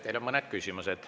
Teile on mõned küsimused.